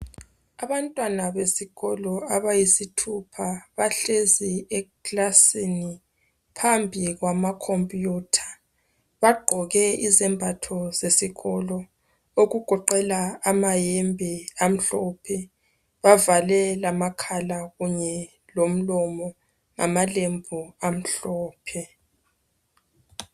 Abantwana besikolo abayisithupha .Bahlezi ekilasini phambi kwama computer .Bagqoke izembatho zesikolo okugoqela amayembe amhlophe .Bavale lamakhala kunye lomlomo ngamalembu amhlophe .